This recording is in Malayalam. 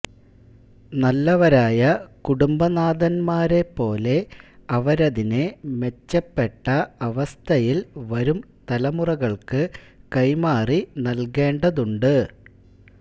നല്ലവരായ കുടുംബനാഥന്മാരെപ്പോലെ അവരതിനെ മെച്ചപ്പെട്ട അവസ്ഥയില് വരും തലമുറകള്ക്കു കൈമാറി നല്കേണ്ടതുണ്ട്